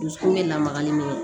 Dusukun bɛ lamaga ni